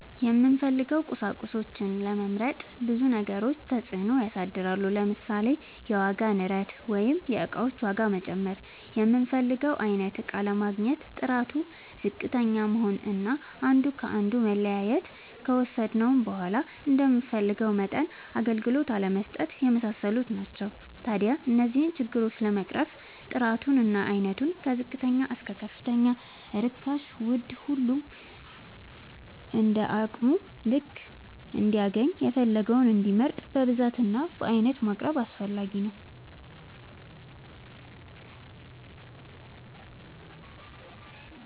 የምንፈልገውን ቁሳቁሶች ለመምረጥ ብዙ ነገሮች ተፅእኖ ያሳድራሉ። ለምሳሌ፦ የዋጋ ንረት(የእቃዎች ዋጋ መጨመር)፣ የምንፈልገውን አይነት እቃ አለማግኘት፣ ጥራቱ ዝቅተኛ መሆን አና አንዱ ከአንዱ መለያየት፣ ከወሰድነውም በዃላ እንደምንፈልገው መጠን አገልግሎት አለመስጠት የመሳሰሉት ናቸው። ታዲያ እነዚህን ችግሮች ለመቅረፍ ጥራቱ እና አይነቱ ከዝቅተኛ እስከ ከፍተኛ ርካሽና ውድ ሁሉም እንደየአቅሙ ልክ እንዲያገኝና የፈለገውን እንዲመርጥ በብዛት እና በአይነት ማቅረብ አስፈላጊ ነው።